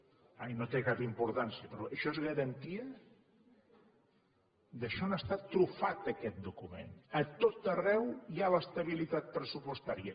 ah i no té cap importància però això és garantia d’això n’està trufat aquest document a tot arreu hi ha l’estabilitat pressupostària